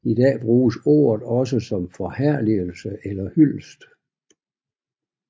I dag bruges ordet også som forherligelse eller hyldest